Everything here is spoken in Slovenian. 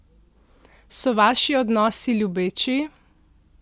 So vaši odnosi ljubeči?